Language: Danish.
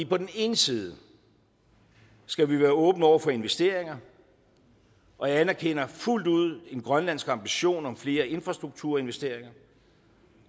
på den ene side skal vi være åbne over for investeringer og jeg anerkender fuldt ud en grønlandsk ambition om flere infrastrukturinvesteringer